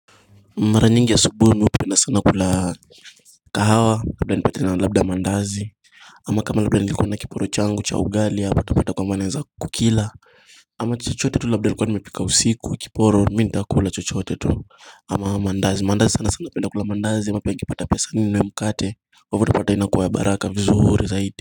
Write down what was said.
Mara nyingi asubuhi mi hupenda sana kula kahawa labda nipatane na labda mandazi Ama kama labda nilikuwa na kiporo changu cha ugali yapata kwamba naweza kukila Ama chuchote tu labda nilikuwa nimepika usiku kiporo mi nitakula chuchote tu Ama mandazi sana sana napenda kula mandazi labda nikipata pesa ninue mkate kwa ivo utupata inakuwa ya baraka vizuri zaidi.